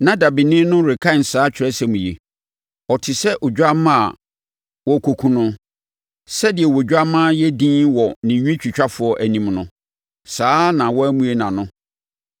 Na dabeni no rekan saa Atwerɛsɛm yi, “Ɔte sɛ odwammaa a wɔrekɔku no. Sɛdeɛ odwammaa yɛ dinn wɔ ne nwitwitwafoɔ anim no, saa ara na wammue nʼano.